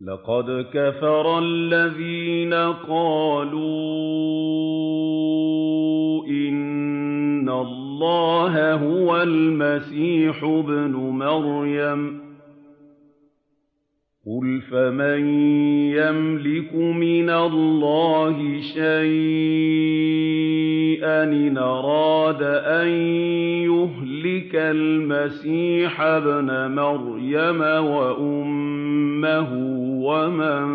لَّقَدْ كَفَرَ الَّذِينَ قَالُوا إِنَّ اللَّهَ هُوَ الْمَسِيحُ ابْنُ مَرْيَمَ ۚ قُلْ فَمَن يَمْلِكُ مِنَ اللَّهِ شَيْئًا إِنْ أَرَادَ أَن يُهْلِكَ الْمَسِيحَ ابْنَ مَرْيَمَ وَأُمَّهُ وَمَن